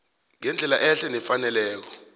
ngendlela ehle nefaneleko